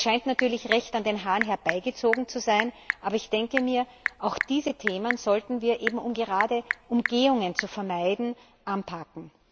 Das scheint natürlich recht an den Haaren herbeigezogen zu sein, aber ich denke mir, auch diese Themen sollten wir gerade um Umgehungen zu vermeiden anpacken.